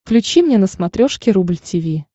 включи мне на смотрешке рубль ти ви